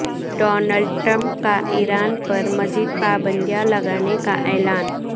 Donald Trump کا Iran پر مزید پابندیاں لگانے کا اعلان